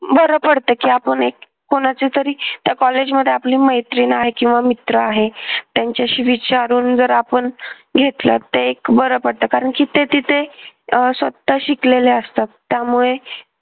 बरं पडतं की आपण एक कुणाच्या तरी त्या कॉलेजमध्ये आपली एक मैत्रीण आहे किंवा मित्र आहे त्यांच्याशी विचारून जर आपण घेतलं तर एक बरं पडतं. कारण जिथे जिथे अह स्वतः शिकलेल्या असतात त्यामुळे